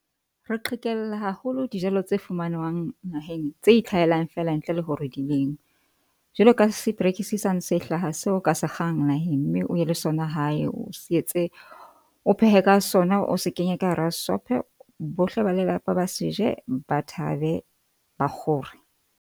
Re qhekella haholo dijelo tse fumananwang naheng tse ithlahellang feela ntle le hore di lenngwe jwalo ka , sane se hlahang se o ka se kgang naheng, mme o ye le sona hae o se etse o phehe ka sona, o se kenye ka hara shophe. Bohle ba lelapa ba se je, ba thabe ba kgore.